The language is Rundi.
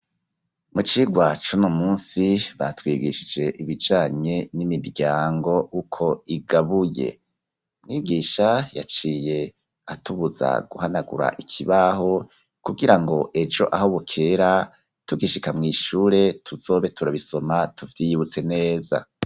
Mu cigwa c'uno munsi, batwigishije ibijanye n'imiryango, uko igabuye; mwigisha yaciye atubuza guhanagura ikibaho, kugira ngo ejo aho bukera, tugishika mw'ishure, tuzobe turabisoma, tuvyiyibutse neza.